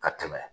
Ka tɛmɛ